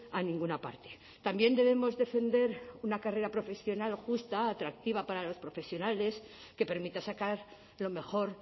a ninguna parte también debemos defender una carrera profesional justa atractiva para los profesionales que permita sacar lo mejor